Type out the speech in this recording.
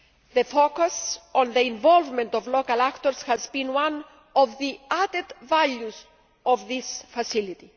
The focus on the involvement of local actors has been one of the added values of this facility.